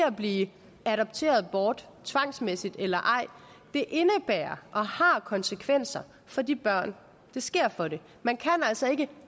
at blive adopteret bort tvangsmæssigt eller ej indebærer og har konsekvenser for de børn det sker for man kan altså ikke